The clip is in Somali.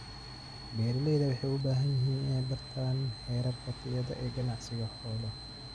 Beeralayda waxay u baahan yihiin inay bartaan heerarka tayada ee ganacsiga xoolaha.